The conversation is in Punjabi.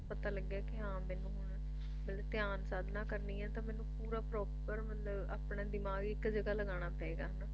ਪਤਾ ਲੱਗਿਆ ਵੀ ਹਾਂ ਮੈਨੂੰ ਹੁਣ ਮਤਲਬ ਧਿਆਨ ਸਾਧਨਾ ਕਰਨੀ ਆ ਪੂਲਗਾਣਾ ਰਾ proper ਮਤਲਬ ਆਪਣਾ ਧਿਆਨ ਇੱਕ ਜਗ੍ਹਾ ਲਗਾਣਾ ਪਏਗਾ